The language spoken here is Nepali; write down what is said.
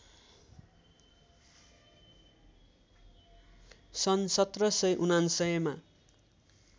सन् १७९९ मा